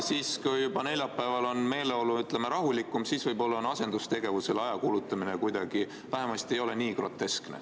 Kui neljapäeval on meeleolu juba rahulikum, siis võib-olla on asendustegevusele aja kulutamine kuidagi vähem groteskne.